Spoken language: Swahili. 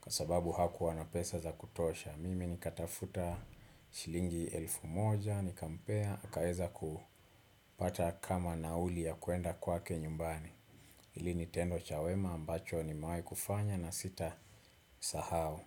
kwa sababu hakuwa na pesa za kutosha. Mimi nikatafuta shilingi elfu moja, nikampea, akaeza kupata kama nauli ya kuenda kwake nyumbani. Hili ni tendo cha wema ambacho nimewai kufanya na sitasahau.